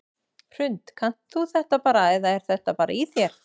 Hrund: Kannt þú þetta bara eða er þetta bara í þér?